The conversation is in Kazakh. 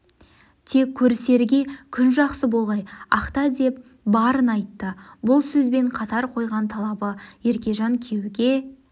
тек көрісерге күн жақсы болғай-ақта деп барын айтты бұл сөзбен қатар қойған талабы еркежан күйеу ге